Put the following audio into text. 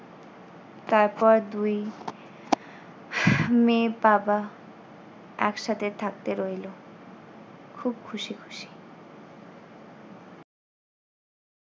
তারপর দুই মেয়ে বাবা একসাথে থাকতে রইলো। খুব খুশি খুশি।